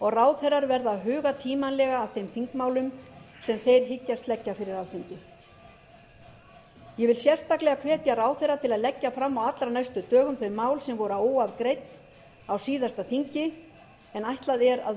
og ráðherrar verða að huga tímanlega að þeim þingmálum sem þeir hyggjast leggja fyrir alþingi ég vil sérstaklega hvetja ráðherra til að leggja fram á allra næstu dögum þau mál sem voru óafgreidd á síðasta þingi en ætlað er að verði